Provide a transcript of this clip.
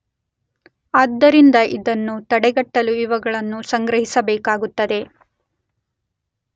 ಆದ್ದರಿಂದ ಇದನ್ನು ತಡೆಗಟ್ಟಲು ಇವುಗಳನ್ನು ಸಂಗ್ರಹಿಸಬೇಕಾಗುತ್ತದೆ.